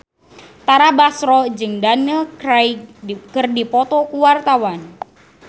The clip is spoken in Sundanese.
Tara Basro jeung Daniel Craig keur dipoto ku wartawan